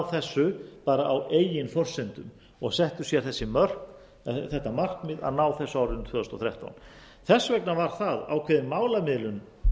þessu bara á eigin forsendum og settu sér þetta markmið að ná þessu árið tvö þúsund og þrettán þess vegna var það ákveðin málamiðlun